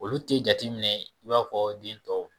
Olu tɛ jateminɛ i b'a fɔ den tɔ